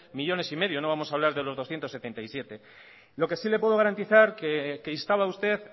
millónes y medio no vamos a hablar de los doscientos setenta y siete lo que sí le puedo garantizar que instaba usted